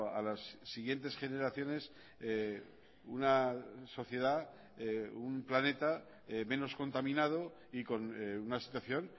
a las siguientes generaciones una sociedad un planeta menos contaminado y con una situación